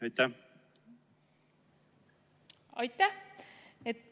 Aitäh!